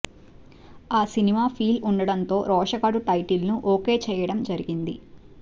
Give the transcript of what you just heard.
ఆ cinema feel ఉండడంతో Roshagadu title ను ఒకే చేయడం జరిగింది